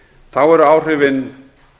þá eru áhrifin